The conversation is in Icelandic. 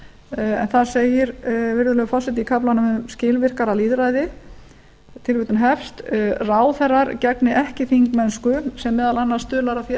en þar segir virðulegi forseti í kaflanum um skilvirkara lýðræði ráðherrar gegni ekki þingmennsku sem meðal annars stuðlar að því að